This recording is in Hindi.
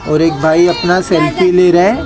और एक भाई अपना सेल्फी ले रहे हैं।